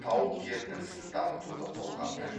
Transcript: тау кен інісін дамытуды қолға алды